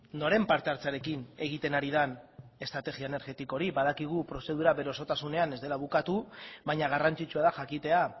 noren parte hartzearekin egiten ari den estrategia energetiko hori badakigu prozedura bere osotasunean ez dela bukatu baina garrantzitsua da jakitea